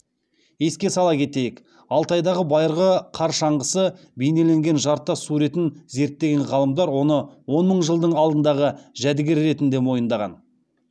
еске сала кетейік алтайдағы байырғы қар шаңғысы бейнеленген жартас суретін зерттеген ғалымдар оны он мың жылдың алдындағы жәдігер ретінде мойындаған